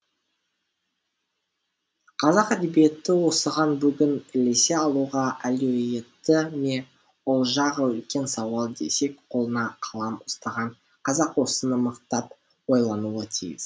қазақ әдебиеті осыған бүгін ілесе алуға әлеуетті ме ол жағы үлкен сауал десек қолына қалам ұстаған қазақ осыны мықтап ойлануы тиіс